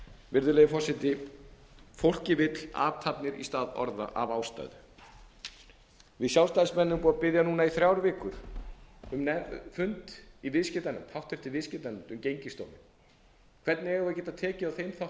virðulegi forseti fólkið vill athafnir í stað orða af ástæðu við sjálfstæðismenn erum búnir að biðja núna í þrjár vikur um fund í háttvirtri viðskiptanefnd um gengisdóminn hvernig eigum við að geta tekið á þeim